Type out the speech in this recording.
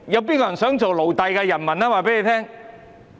誰想做奴隸的人們？